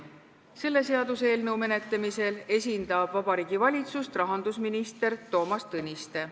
Selle seaduseelnõu menetlemisel esindab Vabariigi Valitsust rahandusminister Toomas Tõniste.